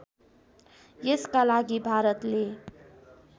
यसका लागि भारतले